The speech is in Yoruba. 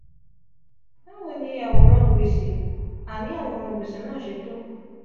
bawo aworan gbese naa aworan gbese naa se to?